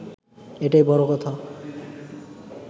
এটাই বড় কথা